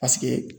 Paseke